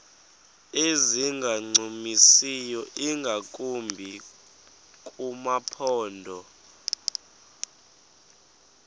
ezingancumisiyo ingakumbi kumaphondo